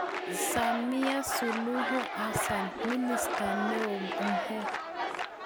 Samia suluhu hassan ,minister neo mhe